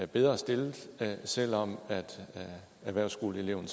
bedre stillet selv om erhvervsskoleeleven